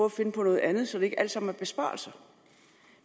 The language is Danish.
at finde på noget andet så det ikke alt sammen er besparelser